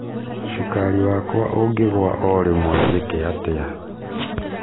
Cukari wakwa ũngĩgua órĩmwe jĩke atĩa?